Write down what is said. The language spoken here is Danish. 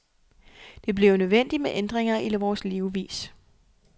Det bliver nødvendigt med ændringer i vores levevis.